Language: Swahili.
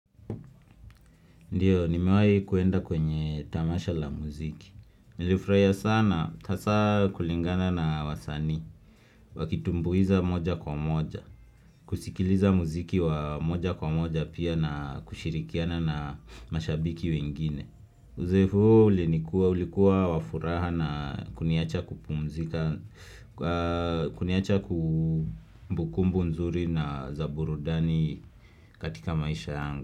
Ndiyo, nimewai kuenda kwenye tamasha la muziki. Nilifraiya sana, asa kulingana na wasani, wakitumbuiza moja kwa moja, kusikiliza muziki wa moja kwa moja pia na kushirikiana na mashabiki wengine. Uzoefu huo ulikuwa wafuraha na kuniacha kumbukumbu nzuri na zaburudani katika maisha yangu.